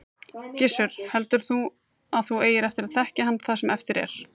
Gissur: Heldur þú að þú eigir eftir að þekkja hann það sem eftir er?